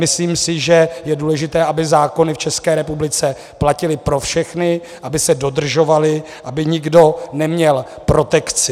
Myslím si, že je důležité, aby zákony v České republice platily pro všechny, aby se dodržovaly, aby nikdo neměl protekci.